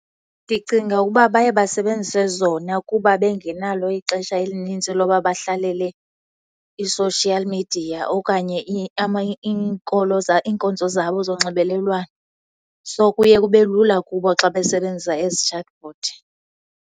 Ndicinga ukuba baye basebenzise zona kuba bengenalo ixesha elinintsi loba bahlalele i-social media okanye iinkonzo zabo zonxibelelwano. So, kuye kube lula kubo xa besebenzisa ezi chatbot.